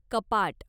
कपाट